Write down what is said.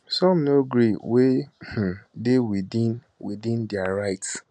some no gree wey um dey within within dia rights